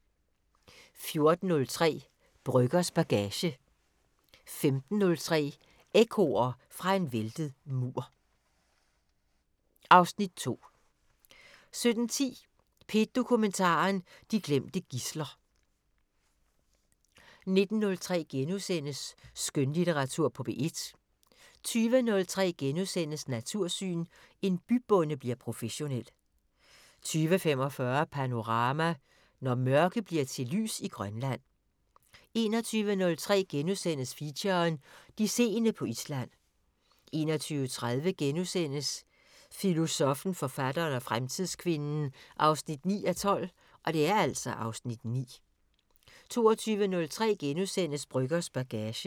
14:03: Brøggers bagage 15:03: Ekkoer fra en væltet mur (Afs. 2) 17:10: P1 Dokumentar: De glemte gidsler 17:52: Danskernes Akademi på P1 19:03: Skønlitteratur på P1 * 20:03: Natursyn: En bybonde bliver professionel * 20:45: Panorama: Når mørke bliver til lys i Grønland 21:03: Feature: De seende på Island * 21:30: Filosoffen, forfatteren og fremtidskvinden 9:12 (Afs. 9)* 22:03: Brøggers bagage *